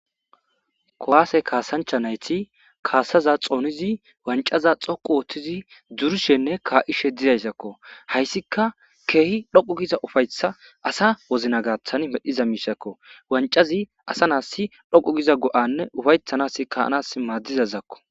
kowaase kaasancha nayti kaasaza xoonizi wancaza xoqu woothtizi durushenne kaa7ishe didaysakko hayssika keehi dhoqu giza ufaytha asa wozna gaththan medhiza miishakko wancazi asa naassi dhoqu giza go7anne ufaythanas kaanas maaddizazakko